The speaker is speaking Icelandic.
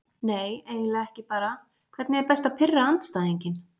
Nei eiginlega ekki bara Hvernig er best að pirra andstæðinginn?